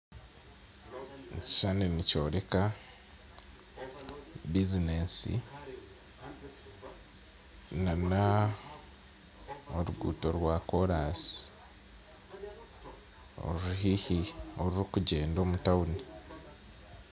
Ekishishani nikyoreka bizineesi na n'oruguuto rwa koraasi orurikugyenda omu tawuni